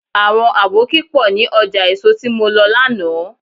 Àwọn àbókí pọ̀ ní ọjà èso tí mo lọ lánàá.